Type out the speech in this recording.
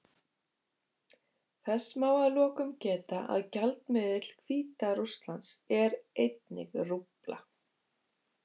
Þess má að lokum geta að gjaldmiðill Hvíta-Rússlands er einnig rúbla.